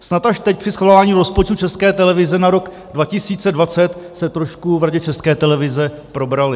Snad až teď při schvalování rozpočtu České televize na rok 2020 se trošku v Radě České televize probrali.